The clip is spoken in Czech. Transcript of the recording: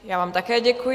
Já vám také děkuji.